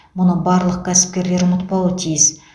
мұны барлық кәсіпкерлер ұмытпауы тиіс